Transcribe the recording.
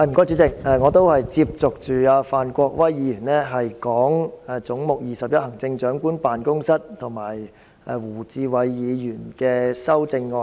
主席，我也是接續范國威議員談及"總目 21― 行政長官辦公室"，以及胡志偉議員的相關修正案。